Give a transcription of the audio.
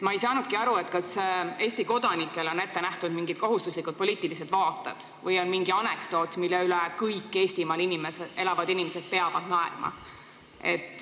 Ma ei saanudki aru, kas Eesti kodanikele on ette nähtud mingid kohustuslikud poliitilised vaated või on mingi anekdoot, mille üle kõik Eestimaal elavad inimesed peavad naerma.